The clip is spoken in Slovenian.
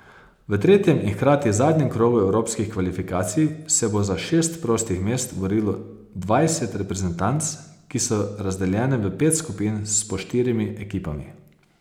V tretjem in hkrati zadnjem krogu evropskih kvalifikacij se bo za šest prostih mest borilo dvajset reprezentanc, ki so razdeljene v pet skupin s po štirimi ekipami.